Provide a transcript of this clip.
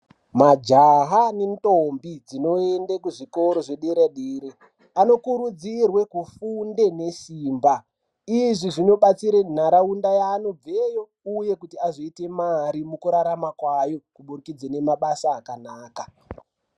Majaha ne ndombi dzinoende kuzvikoro zve dera dera anokuridzirwe kufunde ne simba izvi zvino batsira ntaraunda yaanobve uye kuti azoite mari mukurarama kwayo kubudidze nema basa akanaka.